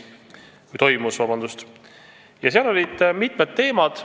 Kõne all olid mitmed teemad.